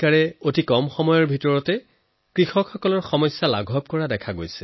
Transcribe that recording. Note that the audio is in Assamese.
এই অধিকাৰসমূহে খুউব কম সময়ত কৃষকসকলৰ কষ্ট লাঘব কৰিবলৈ আৰম্ভ কৰিছে